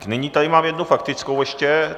Nyní tady mám jednu faktickou ještě.